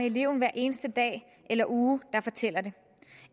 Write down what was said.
eleven hver eneste dag eller uge der fortæller det